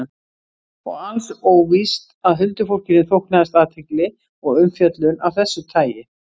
Og alls óvíst að huldufólkinu þóknaðist athygli og umfjöllun af þessu tagi.